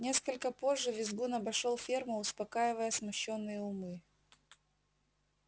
несколько позже визгун обошёл ферму успокаивая смущённые умы